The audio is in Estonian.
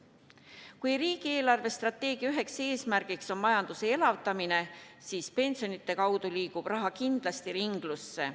Kui riigi eelarvestrateegia üks eesmärk on majanduse elavdamine, siis pensionide kaudu liigub raha kindlasti ringlusse.